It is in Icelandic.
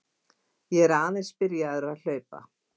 Ég er aðeins byrjaður að hlaupa.